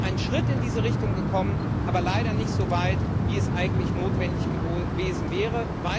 Wir sind einen Schritt in diese Richtung gegangen, aber leider nicht so weit, wie es eigentlich notwendig gewesen wäre.